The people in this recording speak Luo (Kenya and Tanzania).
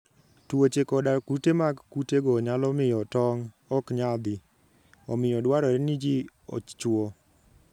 Tuoche koda kute mag kutego nyalo miyo tong' ok nyadhi, omiyo dwarore ni ji ochwo.